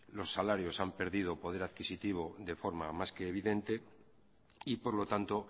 los salarios han perdido poder adquisitivo de forma más que evidente y por lo tanto